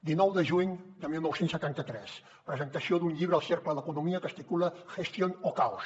dinou de juny de dinou setanta tres presentació d’un llibre al cercle d’economia que es titula gestión o caos